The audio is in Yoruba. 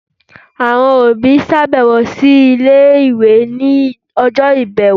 awọn obi ṣabẹwo si ile-iwe ni ọjọ ibẹwo.